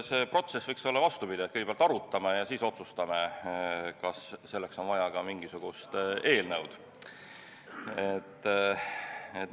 See protsess võiks olla vastupidi: kõigepealt arutame ja siis otsustame, kas selleks on vaja ka mingisugust eelnõu.